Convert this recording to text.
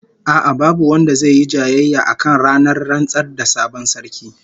A'a, babu wanda zai yi jayayya akan ranar rantsar da sabon sarki